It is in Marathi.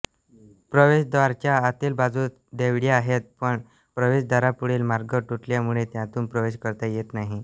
प्रवेशद्वाराच्या आतील बाजूस देवड्या आहेत पण प्रवेशद्वारापुढील मार्ग तुटल्यामुळे त्यातून प्रवेश करता येत नाही